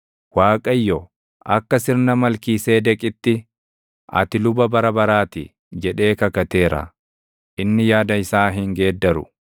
Waaqayyo, “Akka sirna Malkiiseedeqitti, ati luba bara baraa ti” jedhee kakateera. Inni yaada isaa hin geeddaru.